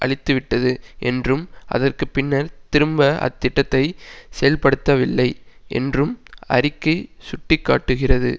அழித்துவிட்டது என்றும் அதற்கு பின்னர் திரும்ப அத்திட்டத்தை செயல்படுத்தவில்லை என்றும் அறிக்கை சுட்டி காட்டுகிறது